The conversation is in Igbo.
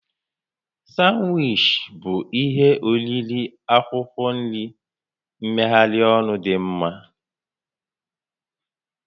Sanwichi bụ ihe oriri akwụkwọ nri mmegharị ọnụ dị mma